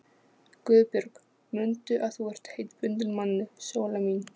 GUÐBJÖRG: Mundu að þú ert heitbundin manni, Sóla mín.